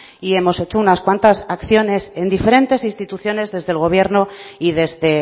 y hemos hecho unas cuantas acciones en diferentes instituciones desde el gobierno y desde